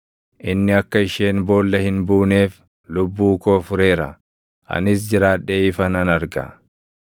Inni akka isheen boolla hin buuneef lubbuu koo fureera; anis jiraadhee ifa nan arga.’